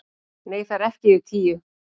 Nei, það eru ekki yfir tíu